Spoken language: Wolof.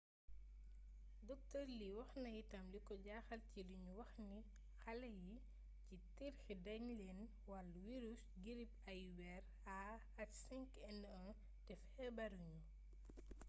dr. lee wax na itam liko jaaxal ci liñu wax nix ale yi ci tirki dañ leen wall wirisu girip awiyeer ah5n1 te feebaru ñu